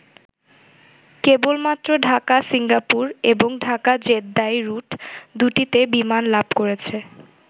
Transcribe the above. কেবলমাত্র ঢাকা-সিঙ্গাপুর এবং ঢাকা-জেদ্দাহ রুট দুটিতে বিমান লাভ করছে।